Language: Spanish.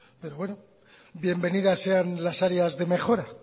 pero bueno bienvenida sean las áreas de mejora